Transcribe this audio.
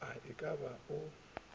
a e ka ba o